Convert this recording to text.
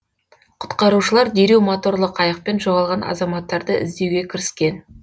құтқарушылар дереу моторлы қайықпен жоғалған азаматтарды іздеуге кіріскен